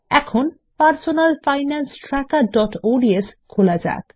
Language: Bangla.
এখন Personal Finance Trackerodsখোলা যাক